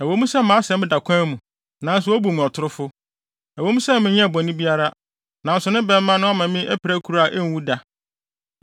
Ɛwɔ mu sɛ mʼasɛm da kwan mu, nanso wobu me ɔtorofo; ɛwɔ mu sɛ menyɛɛ bɔne biara, nanso ne bɛmma no ama me apirakuru a enwu da.’